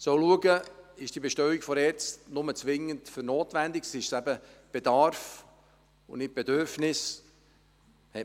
Wir sollen schauen, ob diese Bestellung der ERZ nur zwingend Notwendiges betrifft, ob es sich eben um Bedarf und nicht um Bedürfnisse handelt.